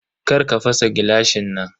Karka fasa gilashin nan.